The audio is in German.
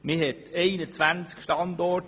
Man prüfte 21 Standorte.